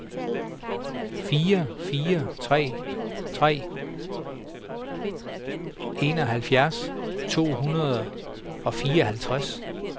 fire fire tre tre enoghalvfjerds to hundrede og fireoghalvtreds